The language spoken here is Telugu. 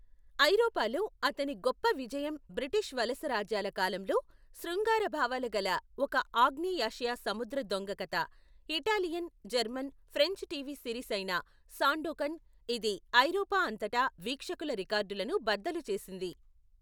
ఐరోపాలో, అతని గొప్ప విజయం బ్రిటిష్ వలసరాజ్యాల కాలంలో, శృంగార భావాలు గల ఒక ఆగ్నేయాసియా సముద్ర దొంగ కథ, Italian, German, French TV series అయిన సాండోకన్, ఇది ఐరోపా అంతటా వీక్షకుల రికార్డులను బద్దలు చేసింది.